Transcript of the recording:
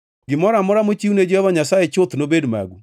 “Gimoro amora mochiwne Jehova Nyasaye chuth nobed magu.